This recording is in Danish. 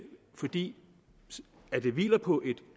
fordi det hviler på et